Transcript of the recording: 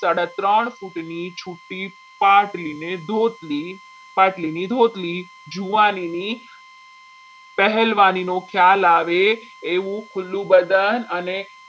સાડા ત્રણ ફૂટની છુટ્ટી પાટલી ને રોટલી પાટલી ની ધુતલી જુવાનીની પહેલવાનિનો ખ્યાલ આવે એવું ખુલ્લું બદન અને